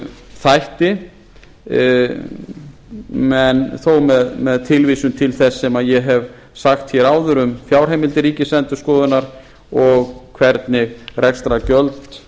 þætti þó með tilvísun til þess sem ég hef sagt hér áður um fjárheimildir ríkisendurskoðunar og hvernig rekstrargjöld